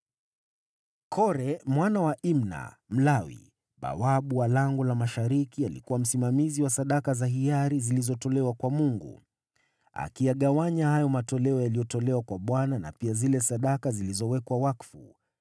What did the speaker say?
Kore mwana wa Imna, Mlawi, bawabu wa Lango la Mashariki, alikuwa msimamizi wa sadaka za hiari zilizotolewa kwa Mungu, akiyagawanya hayo matoleo yaliyotolewa kwa Bwana na pia zile sadaka zilizowekwa wakfu.